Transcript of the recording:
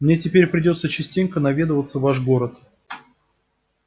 мне теперь придётся частенько наведываться в ваш город